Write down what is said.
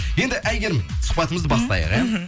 енді әйгерім сұхбатымызды бастайық иә мхм